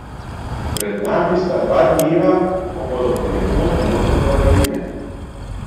Pred nami sta dva dneva, ko bodo ponekod možne padavine.